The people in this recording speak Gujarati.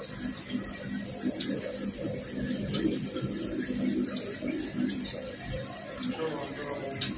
ચાલો answer આપો